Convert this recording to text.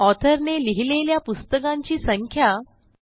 author ने लिहिलेल्या पुस्तकांची संख्या 3